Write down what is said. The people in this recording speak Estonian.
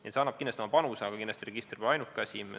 See annab kindlasti oma panuse, aga kindlasti pole register siin ainuke asi.